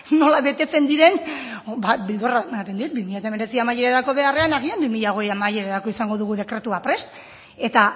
nola betetzen diren ba beldurra ematen dit bi mila hemeretzi amaierarako beharrean agian bi mila hogei amaierarako izango dugu dekretua prest eta